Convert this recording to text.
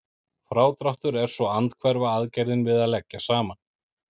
Frádráttur er svo andhverfa aðgerðin við að leggja saman.